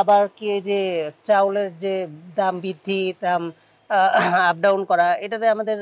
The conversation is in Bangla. আবার কে যে চাউল যে দাম বৃদ্ধি তাম up dwon করা এটাতে আমাদের